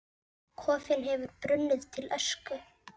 Kofinn hefði brunnið til ösku!